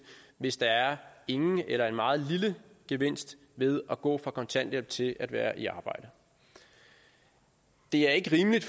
hvis der er ingen eller en meget lille gevinst ved at gå fra kontanthjælp til at være i arbejde det er ikke rimeligt